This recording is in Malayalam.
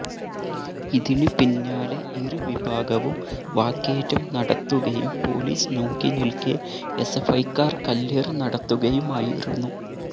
ഇതിന് പിന്നാലെ ഇരു വിഭാഗവും വാക്കേറ്റം നടത്തുകയും പോലിസ് നോക്കിനിൽക്കെ എസ്എഫ്ഐക്കാർ കല്ലേറ് നടത്തുകയുമായിരുന്നു